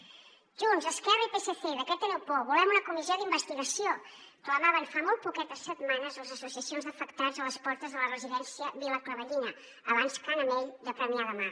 junts esquerra i psc de què teniu por volem una comissió d’investigació clamaven fa molt poquetes setmanes les associacions d’afectats a les portes de la residència vila clavellina abans ca n’amell de premià de mar